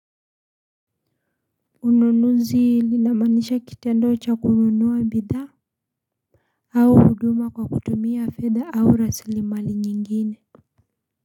Ununuzi linamaanisha kitendo cha kununuwa bidhaa? Au huduma kwa kutumia fedha au raslimali nyingine.